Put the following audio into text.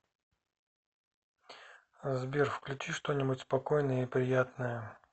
сбер включи что нибудь спокойное и приятное